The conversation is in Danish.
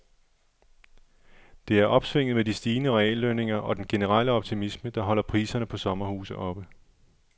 Det er opsvinget med de stigende reallønninger og den generelle optimisme, der holder priserne på sommerhuse oppe.